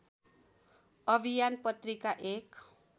अभियान पत्रिका एक